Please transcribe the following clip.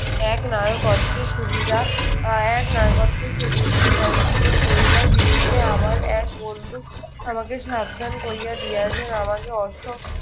একনায়কত্বের সুবিধা আহ একনায়কত্বের সুবিধাসূচক লইবার বিরুদ্ধে আমার এক বন্ধু আমাকে সাবধান করিয়া দিয়াছে। আমাকে অসৎ